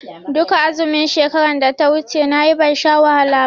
Duka azumin shekaran da ta wuce nayi ban sha wahala ba.